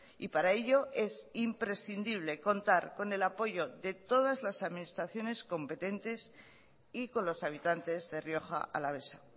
y para ello es imprescindible contar con el apoyo de todas las administraciones competentes y con los habitantes de rioja alavesa